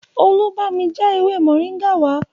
Olú bámi já ewé moringa wá